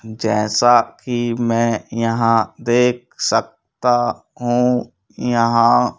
जैसा कि मैं यहां देख सकता हूं यहां--